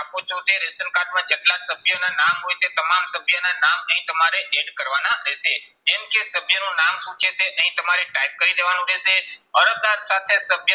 આપો છો તે ration કાર્ડમાં જેટલા સભ્યના નામ હોય છે તે તમામ સભ્યના નામ અહીં તમારે add કરવાના રહેશે. જેમ કે સભ્યનું નામ શું છે તે અહીં તમારે type કરી દેવાનું રહેશે. અરજદાર સાથે સભ્ય